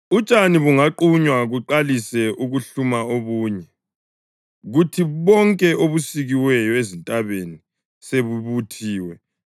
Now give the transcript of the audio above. Utshani bungaqunywa kuqalise ukuhluma obunye kuthi bonke obusikiweyo ezintabeni sebubuthiwe,